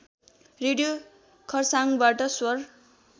radio खर्साङबाट स्वर